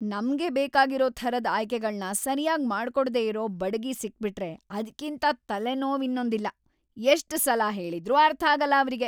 ನಮ್ಗೆ ಬೇಕಾಗಿರೋ ಥರದ್‌ ಆಯ್ಕೆಗಳ್ನ ಸರ್ಯಾಗ್‌ ಮಾಡ್ಕೊಡ್ದೇ ಇರೋ ಬಡಗಿ ಸಿಕ್ಬಿಟ್ರೆ ಅದ್ಕಿಂತ ತಲೆನೋವಿನ್ನೊಂದಿಲ್ಲ. ಎಷ್ಟ್‌ ಸಲ ಹೇಳಿದ್ರೂ ಅರ್ಥಾಗಲ್ಲ ಅವ್ರಿಗೆ.